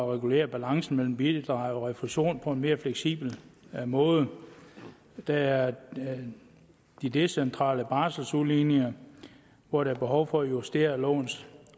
regulere balancen mellem bidrag og refusion på en mere fleksibel måde der er de decentrale barseludligninger hvor der er behov for at justere lovens